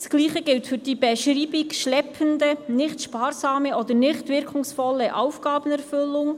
Das Gleiche gilt für die Beschreibung «schleppende, nicht sparsame oder nicht wirkungsvolle Aufgabenerfüllung».